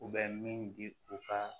U bɛ min di u ka